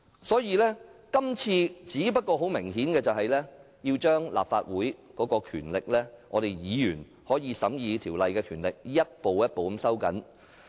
所以，這次很明顯要將立法會的權力及議員審議法案的權力逐步收緊。